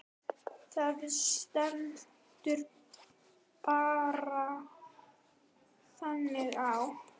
Það stendur bara þannig á.